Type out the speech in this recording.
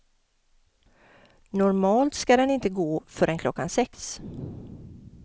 Normalt ska den inte gå förrän klockan sex.